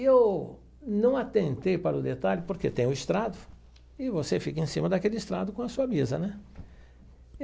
E eu não atentei para o detalhe, porque tem o estrado, e você fica em cima daquele estrado com a sua mesa, né?